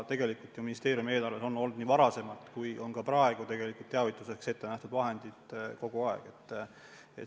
Aga ministeeriumi eelarves on ikka olnud ja on ka praegu teavituseks ette nähtud vahendid.